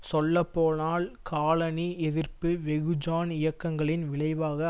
சொல்ல போனால் காலனி எதிர்ப்பு வெகுஜான் இயக்கங்களின் விளைவாக